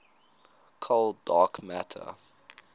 cold dark matter